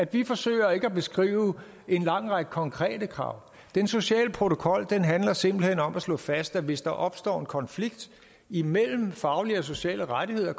vi forsøger ikke at beskrive en lang række konkrete krav den sociale protokol handler simpelt hen om at slå fast at hvis der opstår en konflikt imellem faglige og sociale rettigheder